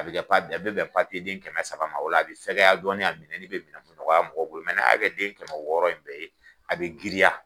A bɛ a bɛ bɛn papiyeden kɛmɛ saba ma, o la a bɛ fɛgɛya dɔɔnni a minɛli bɛ mɔgɔya mɔgɔw bolo, mɛ n'a y'a kɛ den kɛmɛ wɔɔrɔ in bɛɛ ye, a bɛ giriya.